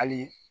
Hali